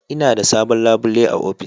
Ina da sabon labule a ofis.